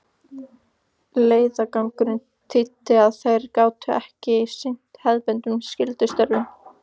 Leiðangurinn þýddi að þeir gátu ekki sinnt hefðbundnum skyldustörfum.